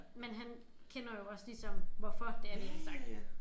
Men han kender jo også ligesom hvorfor det er vi har sagt